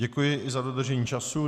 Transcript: Děkuji i za dodržení času.